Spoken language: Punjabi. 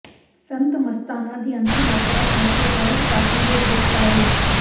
ਸੰਤ ਮਸਤਾਨਾ ਦੀ ਅੰਤਿਮ ਅਰਦਾਸ ਮੌਕੇ ਸਹਿਜ ਪਾਠਾਂ ਦੇ ਭੋਗ ਪਾਏ